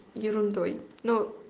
ерундой ну